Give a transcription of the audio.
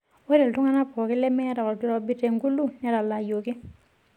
Ore iltung'ana pookin lemeeta olkirobi te Gulu netalaayioki.